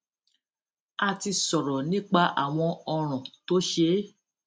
a ti sọrọ nípa àwọn ọràn tó ṣeé